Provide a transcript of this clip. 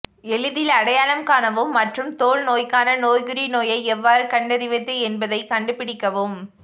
எளிதில் அடையாளம் காணவும் மற்றும் தோல் நோய்க்கான நோய்க்குறி நோயை எவ்வாறு கண்டறிவது என்பதை கண்டுபிடிக்கவும்